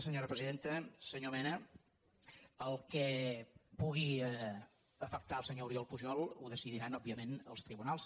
senyor mena el que pugui afectar el senyor oriol pujol ho decidiran òbvia ment els tribunals